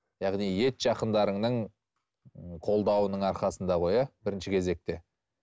яғни ет жақындарыңның қолдауының арқасында ғой иә бірінші кезекте